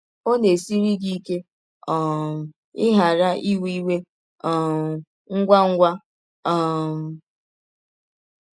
Ọ̀ na - esiri gị ike um ịghara ‘ iwe iwe um ngwa ngwa um ’?